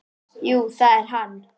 Jú, það er hann.